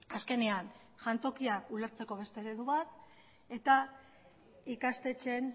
azkenean jantokia ulertzeko beste eredu bat eta ikastetxeen